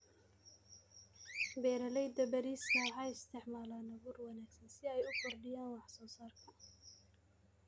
Beeralayda bariiska waxay isticmaalaan abuur wanaagsan si ay u kordhiyaan wax soo saarka.